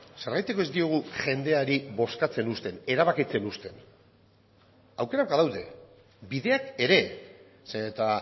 zergatik ez diogu jendeari bozkatzen uzten erabakitzen uzten aukerak badaude bideak ere zeren eta